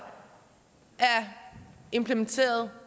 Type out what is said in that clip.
implementeret